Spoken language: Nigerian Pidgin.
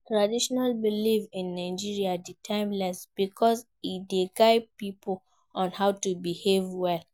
Traditional belief in Nigeria de timeless because e de guide pipo on how to behave well